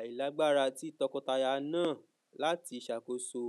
ailagbara ti tọkọtaya naa lati ṣakoso